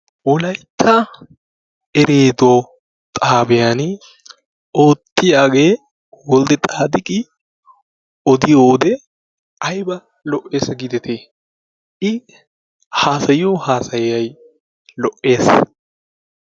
Wolaytta ereeddo xaabbiyan oottiyaage Woldde taaxidi oddiyoode aybba lo''ees gideti/ i haassayiyoo haasay keehin lo'ees.